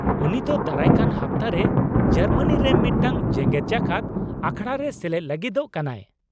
ᱩᱱᱤ ᱛᱚ ᱫᱟᱨᱟᱭ ᱠᱟᱱ ᱦᱟᱯᱛᱟ ᱨᱮ ᱡᱟᱨᱢᱟᱱᱤ ᱨᱮ ᱢᱤᱫᱴᱟᱝ ᱡᱮᱜᱮᱫ ᱡᱟᱠᱟᱫ ᱟᱠᱷᱲᱟ ᱨᱮ ᱥᱮᱞᱮᱫ ᱞᱟᱹᱜᱤᱫᱚᱜ ᱠᱟᱱᱟᱭ ᱾